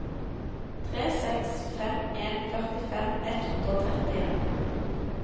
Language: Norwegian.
tre seks fem en førtifem ett hundre og trettien